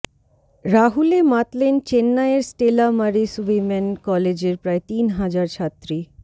রাহুলে মাতলেন চেন্নাইয়ের Stella Maris women কলেজের প্রায় তিন হাজার ছাত্রী